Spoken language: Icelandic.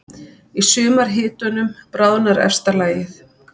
Í sumarhitunum bráðnar efsta lagið.